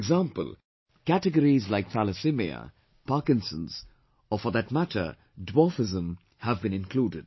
For example, categories like Thalassemia, Parkinson's, or for that matter Dwarfism have been included